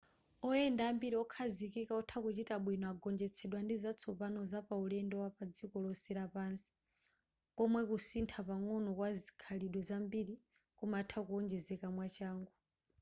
oyenda ambiri okhazikika otha kuchita bwino agonjetsedwa ndi zatsopano zapaulendo wapadziko lonse lapansi komwe kusintha pang'ono kwazikhalidwe zambiri kumatha kuwonjezeka mwachangu